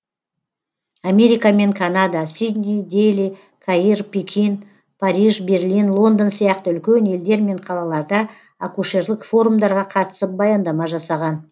америка мен канада сидней дели каир пекин париж берлин лондон сияқты үлкен елдер мен қалаларда акушерлік форумдарға қатысып баяндама жасаған